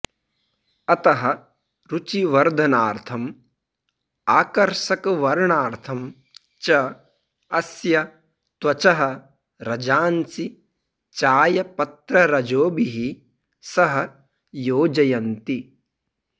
अतः रुचिवर्धनार्थं आकर्षकवर्णार्थं च अस्य त्वचः रजांसि चायपत्ररजोभिः सह योजयन्ति